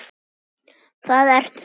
Það ert þú.